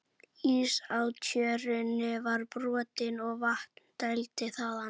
Ís á Tjörninni var brotinn og vatni dælt þaðan.